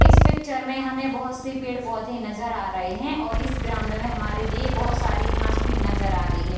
इस पिक्चर में हमें बहुत से पेड़-पौधे नजर आ रहे हैं और इस ग्राउंड में हमारे लिए बहुत सारी घांस भी नजर आ रही है।